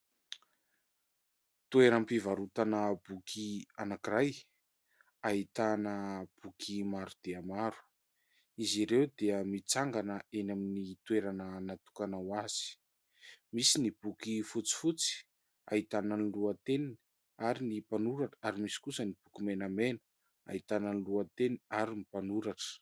Toeram-pivarotana boky anankiray ahitana boky maro dia maro. Izy ireo dia mitsangana eny amin'ny toerana natokana ho azy. Misy ny boky fotsifotsy ahitana ny lohateniny ary ny mpanoratra, ary misy kosa ny boky menamena ahitana ny lohateny ary ny mpanoratra.